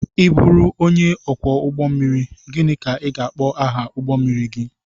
I bụru onye ọkwọ ụgbọ mmiri, gịnị ka a ga-akpọ aha ụgbọ mmiri gị?